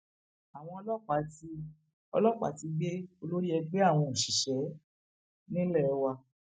àwọn ọlọpàá ti ọlọpàá ti gbé olórí ẹgbẹ àwọn òṣìṣẹ nílé wa